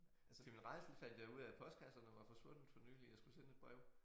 Til min rædsel fandt jeg ud af at postkasserne var forsvundet for nyligt jeg skulle sende et brev